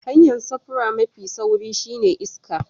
Hanya'n safuri mafi sauri shine ta iska.